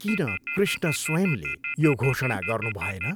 किन कृष्ण स्वयम्ले यो घोषणा गर्नुभएन?